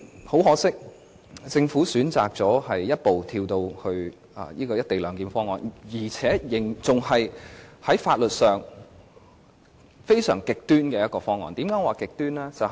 很可惜，政府選擇一步跳到現時的"一地兩檢"方案，而且採取在法律上非常極端的做法。